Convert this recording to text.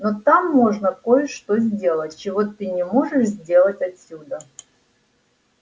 но там можно кое-что сделать чего ты не можешь сделать отсюда